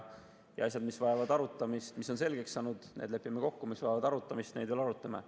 Asjades, mis on selgeks saanud, lepime kokku, ja neid, mis vajavad arutamist, veel arutame.